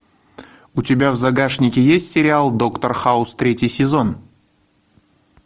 у тебя в загашнике есть сериал доктор хаус третий сезон